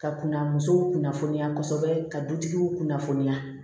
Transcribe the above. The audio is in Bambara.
Ka kunna musow kunnafoniya kosɛbɛ ka dutigiw kunnafoniya